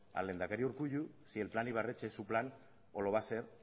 al lehendakari urkullu si el plan ibarretxe es su plan o lo va a ser